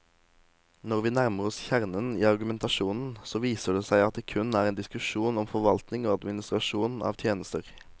Når vi nærmer oss kjernen i argumentasjonen, så viser det seg at det kun er en diskusjon om forvaltning og administrasjon av tjenester.